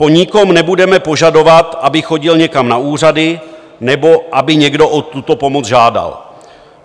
Po nikom nebudeme požadovat, aby chodil někam na úřady nebo aby někdo o tuto pomoc žádal.